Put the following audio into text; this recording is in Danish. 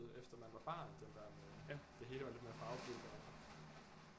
Efter man var barn på den der måde det hele var lidt mere farvefyldt